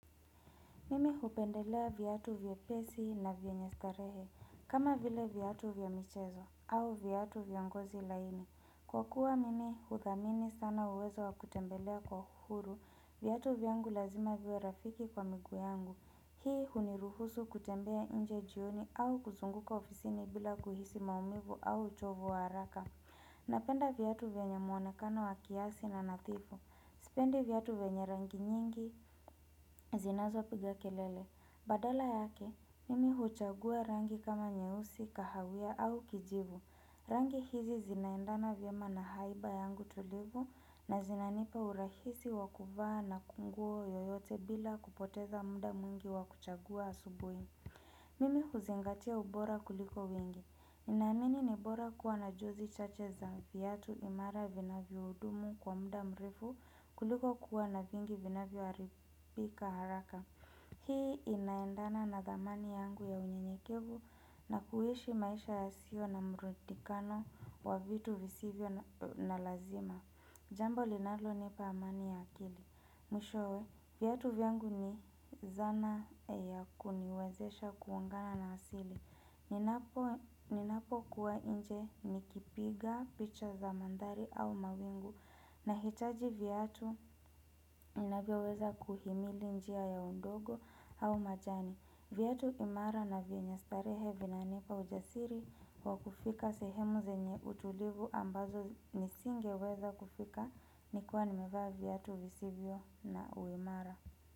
Mimi hupendelea viatu vyepesi na vyenye starehe, kama vile viatu vya michezo au viatu vya ngozi laini. Kwa kuwa mimi huthamini sana uwezo wakutembelea kwa huru, viatu vyangu lazima viwe rafiki kwa miguu yangu. Hii huniruhusu kutembea nje jioni au kuzunguka ofisini bila kuhisi maumivu au uchovu wa haraka. Napenda viatu vyenye muonekano wa kiasi na nadhifu. Sipendi viatu vyenye rangi nyingi zinazopiga kelele. Badala yake, mimi huchagua rangi kama nyeusi, kahawia au kijivu. Rangi hizi zinaendana vyema na haiba yangu tulivu na zinanipa urahisi wa kuvaa na nguo yoyote bila kupoteza muda mwingi wa kuchagua asubuhi. Mimi huzingatia ubora kuliko wingi. Ninaamini ni bora kuwa na jozi chache za viatu imara vinavyohudumu kwa muda mrefu kuliko kuwa na vingi vinavyoharibika haraka. Hii inaendana na thamani yangu ya unyenyekevu na kuishi maisha yasio na mrundikano wa vitu visivyo na lazima. Jambo linalonipa amani ya akili. Mwishowe, viatu vyangu ni zana ya kuniwezesha kugongana na asili. Ninapokuwa nje nikipiga picha za mandhari au mawingu. Nahitaji viatu vinavyoweza kuhimili njia ya udongo au majani. Viatu imara na vyenye starehe vinanipa ujasiri wa kufika sehemu zenye utulivu ambazo nisingeweza kufika. Nikiwa nimevaa viatu visivyo na uimara.